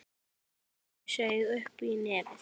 Ég saug upp í nefið.